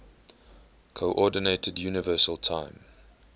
coordinated universal time